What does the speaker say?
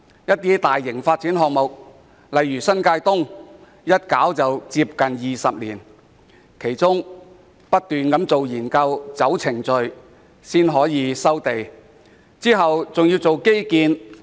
一些大型發展項目，例如新界東北發展項目更歷時接近20年，其間不斷進行研究、履行程序，才得以步入收地階段。